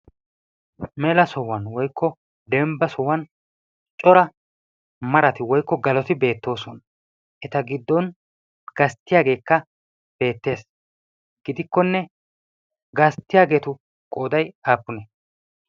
mela sohuwan woykko demba sohuwan cora galoti beetoosona gidikkonne gastiyageetu qooday aapunee?